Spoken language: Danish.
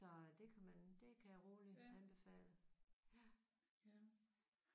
Så det kan man det kan jeg roligt anbefale